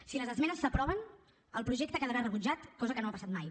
si les esmenes s’aproven el projecte quedarà rebutjat cosa que no ha passat mai